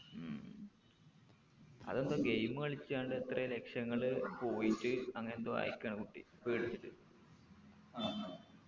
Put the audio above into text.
ഉം അത് എന്തോ game കളിച്ചാണ്ട് എത്രെ ലക്ഷങ്ങള് പോയിറ്റ് അങ്ങനെന്തോ ആയിക്കാണ് കുട്ടി പേടിച്ചിട്ട് ആഹ്